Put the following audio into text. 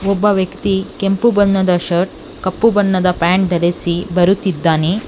ಒಬ್ಬ ವ್ಯಕ್ತಿ ಕೆಂಪು ಬಣ್ಣದ ಶರ್ಟ್ ಕಪ್ಪು ಬಣ್ಣದ ಪ್ಯಾಂಟ್ ಧರಿಸಿ ಬರುತ್ತಿದ್ದಾನೆ.